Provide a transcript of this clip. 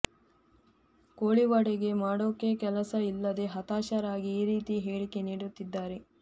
ಕೋಳಿವಾಡಗೆ ಮಾಡೋಕೆ ಕೆಲಸ ಇಲ್ಲದೇ ಹತಾಶರಾಗಿ ಈ ರೀತಿ ಹೇಳಿಕೆ ನೀಡುತ್ತಿದ್ದಾರೆ